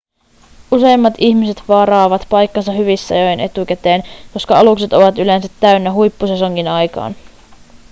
useimmat ihmiset varaavat paikkansa hyvissä ajoin etukäteen koska alukset ovat yleensä täynnä huippusesongin aikaan